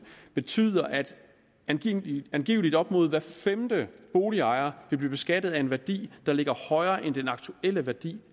betyder at angiveligt angiveligt op mod hver femte boligejer vil blive beskattet af en værdi der ligger højere end den aktuelle værdi